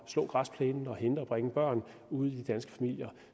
slå græsplænen og hente og bringe børn ude i de danske familier